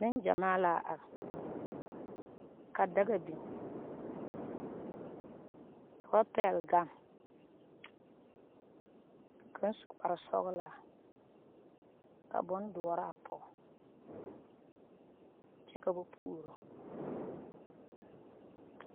Nengyamaa la are ka daga biŋ ka ba pɛgle gane ka kaŋ su kparesɔglaa ka bondoɔre a pɔge kyɛ ka ba puoro.